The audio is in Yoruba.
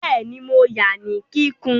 Bẹ́ẹ̀ni, mo ya ní kíkún